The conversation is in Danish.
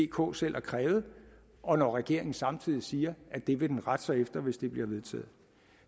k selv har krævet og når regeringen samtidig siger at det vil den rette sig efter hvis det bliver vedtaget